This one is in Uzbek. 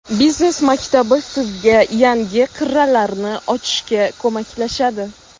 Biznes maktabi sizga yangi qirralarni ochishga ko‘maklashadi.